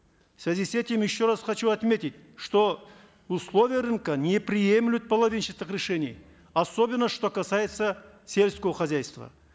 в связи с этим еще раз хочу отметить что условия рынка не приемлют половинчатых решений особенно что касается сельского хозяйства